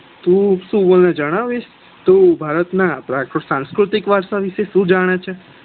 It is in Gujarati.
તું મને જણાવિશ તું ભારત ના સાંસ્કૃતિક વારસા વિશે સુ જાણે છે.